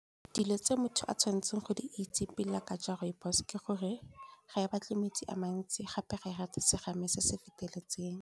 Dilo tse motho a tshwanetseng go di itse pila ka jwa rooibos-o ke gore ga ba batle metsi a mantsi gape ga e rata serame se se feteketseng.